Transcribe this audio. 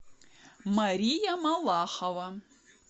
мария малахова